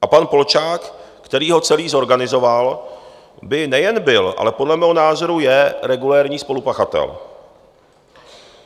A pan Polčák, který ho celý zorganizoval, by nejen byl, ale podle mého názoru je regulérní spolupachatel.